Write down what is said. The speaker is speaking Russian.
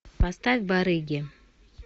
поставь барыги